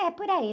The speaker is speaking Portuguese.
É, por aí.